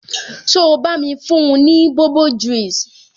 So bá mi fún ni bobo juice?